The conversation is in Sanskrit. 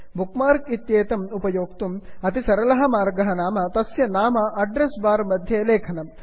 बुक् मार्क् इत्येतम् उपयोक्तुम् अतीवसरलः मर्गः नाम तस्य नाम अड्रेस् बार् मध्ये लेखनम्